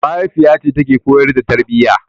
Mahaifiyace take koyar da tarbiyya.